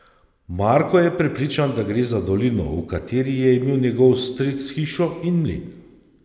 Marko je prepričan, da gre za dolino, v kateri je imel njegov stric hišo in mlin.